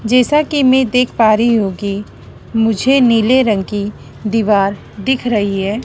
जैसा कि मैं देख पा रही हूं कि मुझे नीले रंग की दीवार दिख रही है।